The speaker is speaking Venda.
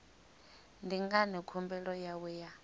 ndi ngani khumbelo yawe ya